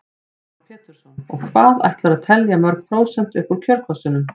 Heimir Már Pétursson: Og hvað ætlarðu að telja mörg prósent upp úr kjörkössunum?